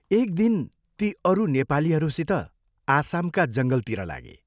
एक दिन ती अरू नेपालीहरूसित आसामका जङ्गलतिर लागे।